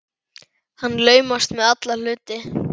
Hann laumast með alla hluti.